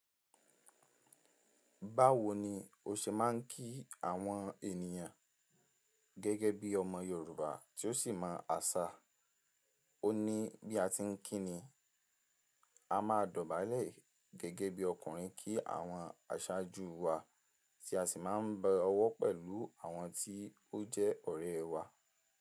Báwo ni o ṣe máa ń kí àwọn ènìyàn gẹ́gẹ́ bí ọmọ Yorùbá tí ó sì máa ń àṣà? O ní, bí a ti ń kí ni, a máa dọ̀bálẹ̀ gẹ́gẹ́ bí ọkùnrin kí àwọn aṣáájú wa tí a sì máa ń bọ ọwọ́ pẹ̀lú àwọn tí ó jẹ́ ọ̀rẹ́ wa.